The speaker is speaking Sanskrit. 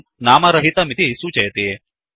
इदं नामरहितमिति सूचयति